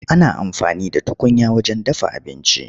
Ana amfani da tukunya wajen dafa abinci.